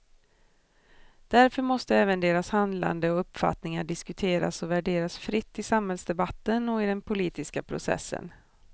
Därför måste även deras handlande och uppfattningar diskuteras och värderas fritt i samhällsdebatten och i den politiska processen.